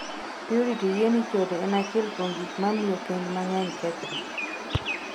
Purity yie ni chode en achiel kuom gik mamiyo kend mang'eny kethre.